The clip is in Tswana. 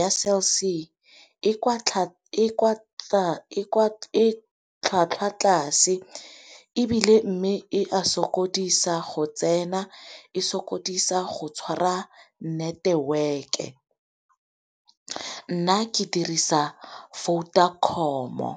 Ya Cell C e tlhwatlhwa tlase, ebile mme e a sokodisa go tsena, e sokodisa go tshwara network-e. Nna ke dirisa Vodacom-o